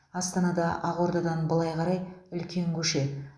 астанада ақордадан былай қарай үлкен көше